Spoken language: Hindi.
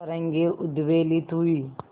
तरंगे उद्वेलित हुई